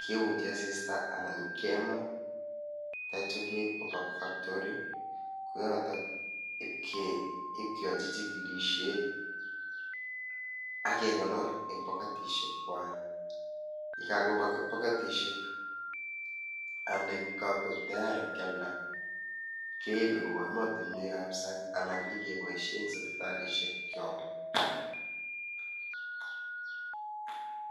keujii asista anan kemaa ak yeityaa keib kobaa factory ko yotoon ii keyachii chikilisheet ak kegonoor en poketisheek kwaak ye kakobaa paketisheek yaani kagoek tayari ibaak keyaldaa keibee kobaa ematinweek ab saang anan nyekebaisheen en sipitalishek kyaak.